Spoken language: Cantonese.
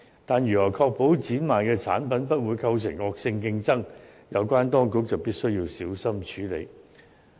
但是，如何確保展賣的產品不會構成惡性競爭，有關當局必須小心處理。